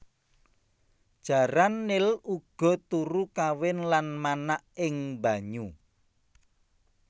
Jaran nil uga turu kawin lan manak ing banyu